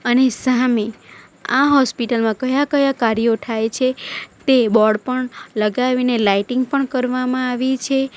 અને સામે આ હોસ્પિટલ માં કયા-કયા કાર્યો થાય છે તે બોર્ડ પણ લગાવીને લાઇટિંગ પણ કરવામાં આવી છે.